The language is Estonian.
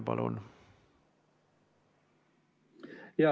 Palun!